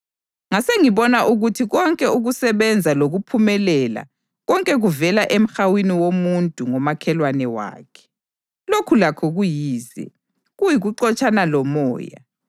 Ngasengibona ukuthi konke ukusebenza lokuphumelela konke kuvela emhawini womuntu ngomakhelwane wakhe. Lokhu lakho kuyize, kuyikuxotshana lomoya.